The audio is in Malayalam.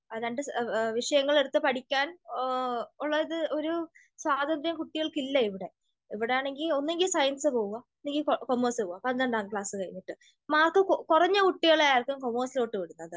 രണ്ട് വിഷയങ്ങളെടുത്ത് പഠിക്കാൻ ഉള്ള ഒരു സ്വാതന്ത്ര്യം കുട്ടികൾക്ക് ഇല്ല. ഇവിടെ ഇവിടെയാണെങ്കിൽ ഒന്നുകിൽ സയൻസ് പോവാ അല്ലെങ്കിൽ കൊമേഴ്‌സ് പോവാ. പന്ത്രണ്ടാം ക്ലാസ് കഴിഞ്ഞിട്ട് മാർക്ക് കുറഞ്ഞ കുട്ടികളെ ആയിരിക്കും കൊമേഴ്‌സിലോട്ട് വിടുന്നത്.